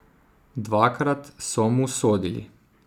Dvakrat so mu sodili.